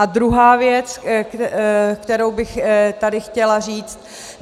A druhá věc, kterou bych tady chtěla říct.